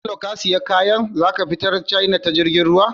Bello ka siya kayan za zaka fitar china ta jirgin ruwa?